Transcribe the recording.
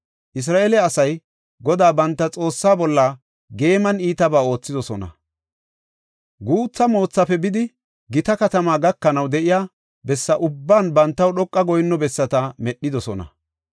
Isra7eele asay Godaa banta Xoossaa bolla geeman iitabaa oothidosona; guutha moothafe bidi, gita katama gakanaw de7iya bessa ubban bantaw dhoqa goyinno bessata medhidosona.